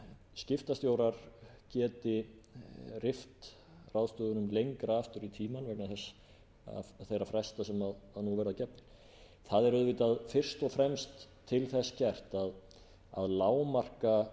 skiptastjórar geti rift ráðstöfunum lengra aftur í tímann vegna þeirra fresta sem nú verða gefnir það er auðvitað fyrst og fremst til þess gert að lágmarka